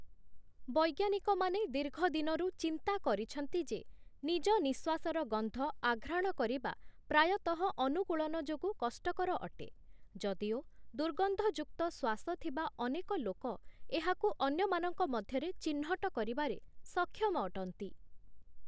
ବୈଜ୍ଞାନିକମାନେ ଦୀର୍ଘ ଦିନରୁ ଚିନ୍ତା କରିଛନ୍ତି ଯେ, ନିଜ ନିଃଶ୍ୱାସର ଗନ୍ଧ ଆଘ୍ରାଣ କରିବା ପ୍ରାୟତଃ ଅନୁକୂଳନ ଯୋଗୁଁ କଷ୍ଟକର ଅଟେ, ଯଦିଓ ଦୁର୍ଗନ୍ଧଯୁକ୍ତଶ୍ୱାସ ଥିବା ଅନେକ ଲୋକ ଏହାକୁ ଅନ୍ୟମାନଙ୍କ ମଧ୍ୟରେ ଚିହ୍ନଟ କରିବାରେ ସକ୍ଷମ ଅଟନ୍ତି ।